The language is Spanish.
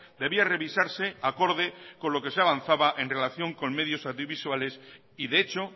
debía revisarse acorde con lo que se ha avanzaba en relación con medios audiovisuales y de hecho